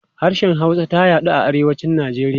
Harshen Hausa ta yaɗu a Arewacin Najeriya.